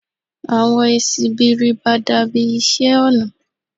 Awọn esi bi riba dabi iṣẹ ọna